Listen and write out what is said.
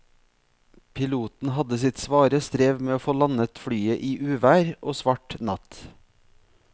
Piloten hadde sitt svare strev med å få landet flyet i uvær og svart natt.